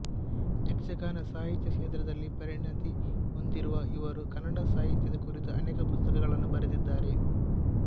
ಯಕ್ಷಗಾನ ಸಾಹಿತ್ಯ ಕ್ಷೇತ್ರದಲ್ಲಿ ಪರಿಣತಿ ಹೊಂದಿರುವ ಇವರು ಕನ್ನಡ ಸಾಹಿತ್ಯದ ಕುರಿತು ಅನೇಕ ಪುಸ್ತಕಗಳನ್ನು ಬರೆದಿದ್ದಾರೆ